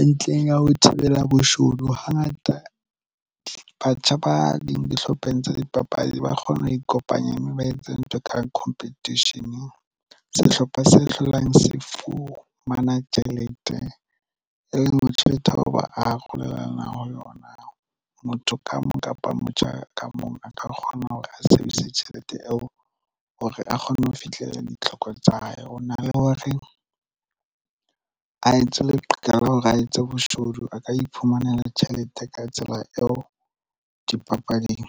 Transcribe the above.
e ntle ya ho thibela boshodu. Hangata batjha ba dihlopheng tsa dipapadi ba kgona ho ikopanya mme ba entse ntwa. Nkang competition sehlopha se hlolang sifumana tjhelete e leng hore tjhelete ao ba arolelanang ho lona motho ka mong kapa motjha ka mong a ka kgona hore a sebedise tjhelete eo hore a kgone ho fihlela ditlhoko tsa hae. Ho na le hore a etse leqala hore a etse boshodu a ka iphumanela tjhelete ka tsela eo dipapading.